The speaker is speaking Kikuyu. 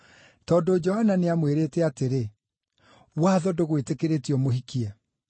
tondũ Johana nĩamwĩrĩte atĩrĩ: “Watho ndũgwĩtĩkĩrĩtie ũmũhikie.”